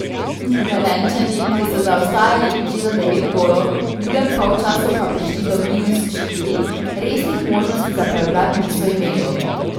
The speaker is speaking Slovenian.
Velenjčani, ki so zaostajali že za devet golov, v drugem polčasu pa prišli do minus štiri, resnih možnosti za preobrat niso imeli.